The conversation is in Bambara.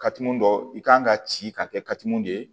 Kati mun dɔ i kan ka ci ka kɛ katu mun de ye